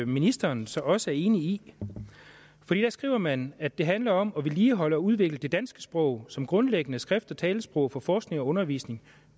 ministeren så også er enig i for der skriver man at det handler om at vedligeholde og udvikle det danske sprog som grundlæggende skrift og talesprog for forskning og undervisning